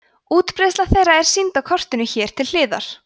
útbreiðsla þeirra er sýnd á kortinu hér til hliðar